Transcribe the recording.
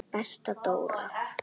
Besta Dór.